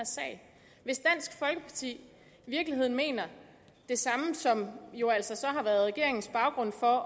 hvis i virkeligheden mener det samme som jo altså så har været regeringens baggrund for